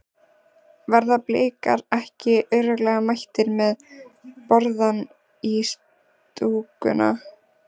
Verða Blikar ekki örugglega mættir með borðann í stúkuna?